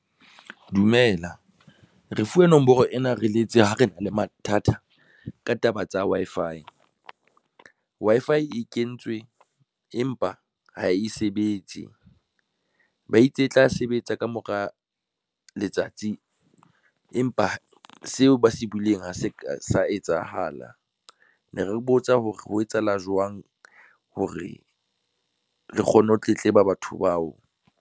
Dumela re fuwe nomoro ena, re letse ho re na le mathata ka taba tsa Wi-Fi e kentswe empa ha e sebetse ba itse e tla sebetsa ka mora letsatsi empa seo ba se buwileng ha se sa etsahala ne re botsa hore ho etsahala jwang hore re kgone ho tletleba batho bao.